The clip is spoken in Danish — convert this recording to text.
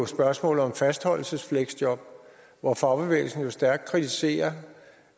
spørgsmålet om fastholdelsesfleksjob hvor fagbevægelsen jo stærkt kritiserer